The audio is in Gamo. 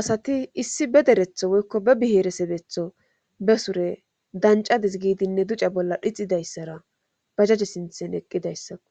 asati issi be deretho wokko be biheeresedetho be sure dancadis giidinne duca bolla dhixidayssara bajaje sinthen eqqidayssaku